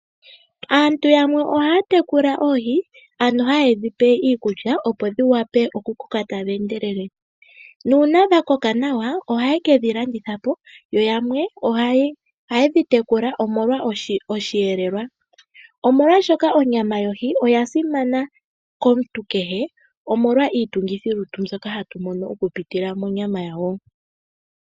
Aantu yamwe ohaya tekula oohi ano haye dhipe iikulya opo dhi koke tadhi endelele. Uuna dha koka nawa oha ye kedhi landithapo. Yamwe oha ye dhi tekula omolwa osheelelwa. Molwaashoka onyama yohi oya simana komuntu kehe omolwa iitungithi yolutu mbyoka hatu mono oku pitila monya yayo.